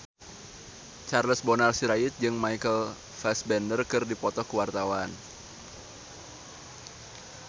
Charles Bonar Sirait jeung Michael Fassbender keur dipoto ku wartawan